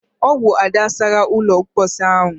Ọ bụ Ada sara ụlọ mposi ahụ.